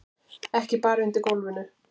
Ekki bara undir gólfinu.